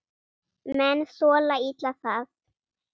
Menn þola illa það.